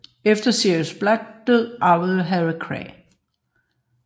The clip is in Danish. Efter Sirius Black dør arver Harry Kræ